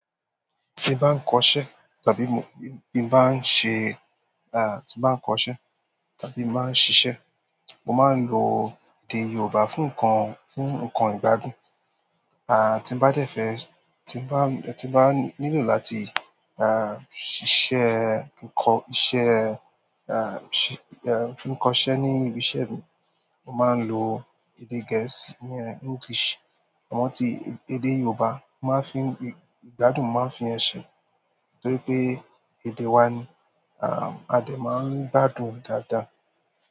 Tí n bá ń kọ́ṣẹ́, tàbí mo, bí n bá ń ṣe, ah, tí bá ń kọ́ṣẹ́, tàbí máa ń ṣiṣẹ́, mo máa ń lo èdè Yorùbá fún nǹkan, fún nǹkan ìgbádùn. À, tí n bá dẹ̀fẹ̀, tí bá, tí bá nílò láti, ah, ṣiṣẹ́, kọ́ iṣẹ́, ah, ṣẹ, ẹ, fí kọ́ṣẹ́ ní ibi iṣẹ́ mi, mo máa ń lo èdè Gẹ̀ẹ́sì, ìyẹn English. Àmọ́ tí èdè Yorùbá, máa fi ìgbádùn máa fi ẹ́ ṣe nítorí pé èdè wa ni, ah, a lè máa ń gbádùn dáadáa.